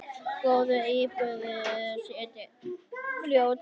Góðar íbúðir seljast fljótt.